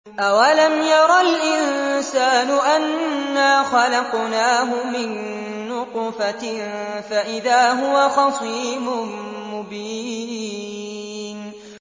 أَوَلَمْ يَرَ الْإِنسَانُ أَنَّا خَلَقْنَاهُ مِن نُّطْفَةٍ فَإِذَا هُوَ خَصِيمٌ مُّبِينٌ